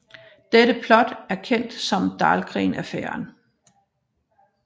Dette plot er kendt som Dahlgren Affæren